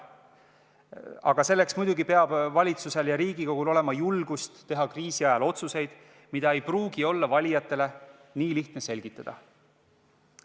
Aga selleks muidugi peab valitsusel ja Riigikogul olema julgust teha kriisi ajal otsuseid, mida ei pruugi olla valijatele nii lihtne selgitada.